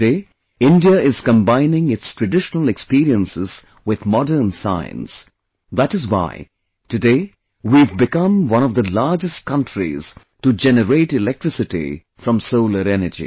Today, India is combining its traditional experiences with modern science, that is why, today, we have become one of the largest countries to generate electricity from solar energy